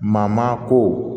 Mamako